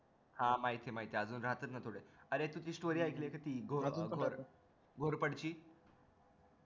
हा माहिती माहिती अजून राहता ना थोडे अरे तू ते story ऐकली आहे का ती घोरपडची